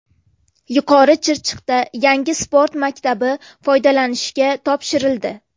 Yuqori Chirchiqda yangi sport maktabi foydalanishga topshirildi.